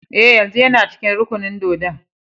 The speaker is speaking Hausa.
Eh, yanzun yana cikin rukunin dōdon.